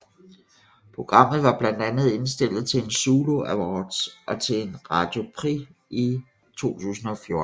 Programmet var blandt andet indstillet til en Zulu Awards og til en Radio Prix i 2014